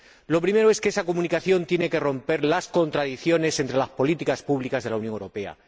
El primero es que esa Comunicación tiene que romper las contradicciones entre las políticas públicas de la Unión Europea.